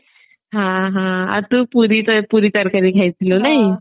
ହଁ ହଁ ଆଉ ତୁ ପୁରୀ ତରକାରୀ ତରକାରୀ ଖାଇଥିଲୁ ନାଇଁ